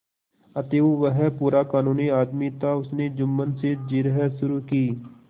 अतएव वह पूरा कानूनी आदमी था उसने जुम्मन से जिरह शुरू की